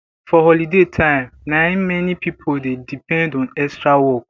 for holiday time na im many pipo dey depend on extra work